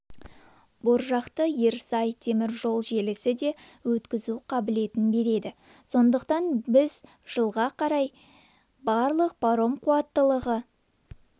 боржақты ерсай теміржол желісі де өткізу қабілетін береді сондықтан біз жылға қарай барлық паром қуаттылығы